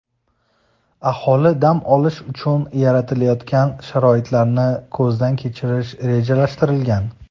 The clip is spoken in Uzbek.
aholi dam olishi uchun yaratilayotgan sharoitlarni ko‘zdan kechirish rejalashtirilgan.